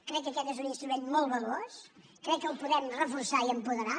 crec que aquest és un instrument molt valuós crec que el podem reforçar i apoderar